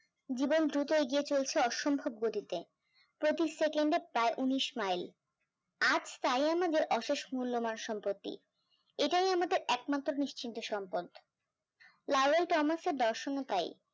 জীবন দ্রুত এগিয়ে চলছে অসম্ভব গতিতে, পঁচিশ second এ প্রায় উনিশ mile আজ তাই আমাদের অশেষ মূল্যবান সম্পত্তি, এটাই আমাদের নিশ্চিন্ত একমাত্র সম্পদ দর্শনও পাই